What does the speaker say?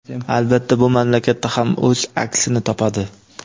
albatta bu mamlakatda ham o‘z aksini topadi.